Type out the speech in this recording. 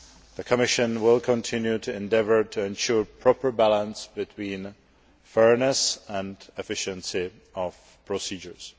The Commission will continue to endeavour to ensure proper balance between fairness and efficiency of procedures.